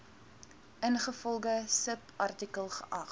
ingevolge subartikel geag